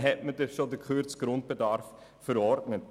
Ihnen wurde bereits der gekürzte Grundbedarf verordnet.